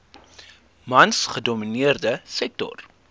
mans gedomineerde sektor